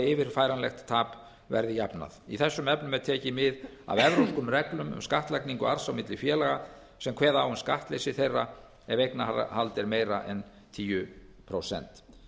yfirfæranlegt tap verði jafnað í þessum efnum er tekið mið af evrópskum reglum um skattlagningu arðs á milli félaga sem kveða á um skattleysi þeirra ef eignarhald er meira en tíu prósent